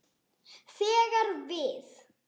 þegar við.